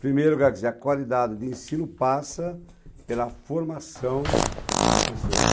Primeiro, quer dizer, a qualidade de ensino passa pela formação do professor.